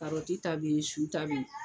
Karɔti ta bɛ ye su ta bɛ ye.